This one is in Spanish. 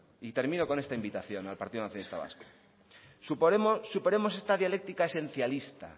y termino con esta invitación al partido nacionalista vasco superemos esta dialéctica esencialista